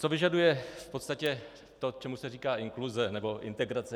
Co vyžaduje v podstatě to, čemu se říká inkluze nebo integrace?